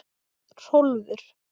Hrólfur